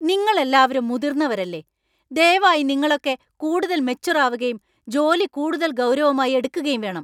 നിങ്ങളെല്ലാവരും മുതിർന്നവരല്ലേ! ദയവായി നിങ്ങളൊക്കെ കൂടുതൽ മെച്വർ ആവുകയും ജോലി കൂടുതൽ ഗൗരവമായി എടുക്കുകയും വേണം .